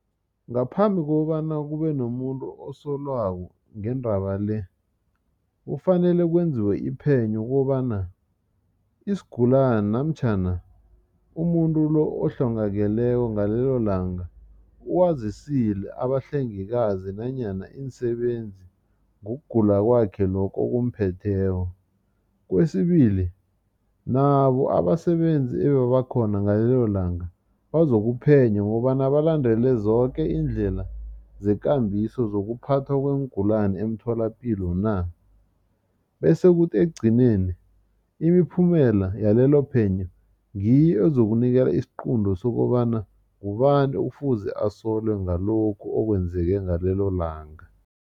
Ngaphambi kokobana kube nomuntu osolwako ngendaba le kufanele kwenziwe iphenyo kobana isigulane namtjhana umuntu lo ohlongakeleko ngalelo langa uwazisile abahlengikazi nanyana iinsebenzi ngokugula kwakhe lokhu okumphetheko. Kwesibili nabo abasebenzi ebebakhona ngalelo langa bazokuphenywa ngokobana balandele zoke iindlela zekambiso zokuphathwa kweengulani emtholapilo na. Bese kuthi ekugcineni imiphumela yalelo phenyo ngiyo ezokunikela isiqunto sokobana ngubani ekufuze asolwe ngalokhu okwenzeke ngalelo langa.